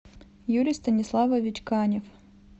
юрий станиславович канев